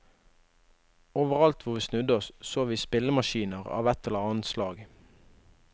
Overalt hvor vi snudde oss så vi spillemaskiner av et eller annet slag.